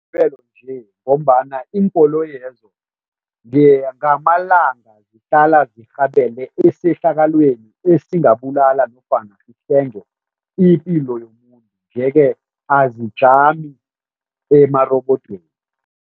Nje ngombana iinkoloyezo ngamalanga zihlala zirhabele esehlakalweni esingabulala nofana ipilo yomuntu nje-ke azikajami emarebodweni.